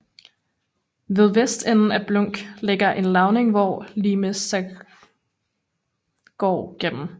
Ved vestenden af Blunk ligger en lavning hvor Limes Saxoniae går gennem